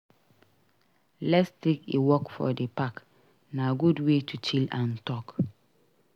Let s take a walk for the park; na good way to chill and talk.